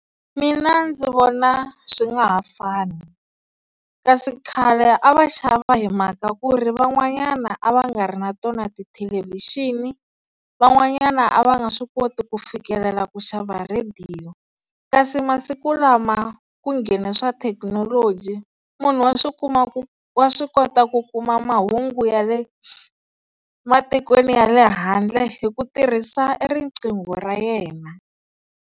Mina ndzi vona swi nga ha fani, kasi khale a va xava hi mhaka ku ri van'wanyana a va nga ri na tona ti thelevixini. Van'wanyana a va nge swi koti ku fikelela ku xava rediyo kasi masiku lama ku nghene swa thekinoloji munhu wa swi kuma ku wa swi kota ku kuma mahungu ya le matikweni ya le handle hi ku tirhisa riqingho ra yena.